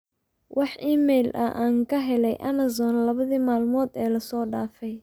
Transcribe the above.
wax iimayl ah aan ka helay amazon labadii maalmood ee la soo dhaafay